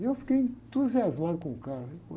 E eu fiquei entusiasmado com o cara, né?